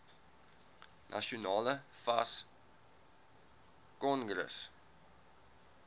nasionale fas kongres